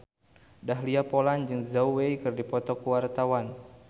Dahlia Poland jeung Zhao Wei keur dipoto ku wartawan